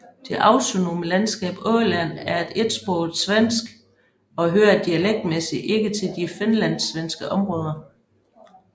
Det autonome landskab Åland er etsproget svensk og hører dialektmæssigt ikke til de finlandssvenske områder